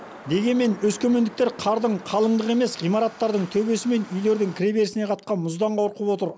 дегенмен өскемендіктер қардың қалыңдығы емес ғимараттардың төбесі мен үйлердің кіреберісіне қатқан мұздан қорқып отыр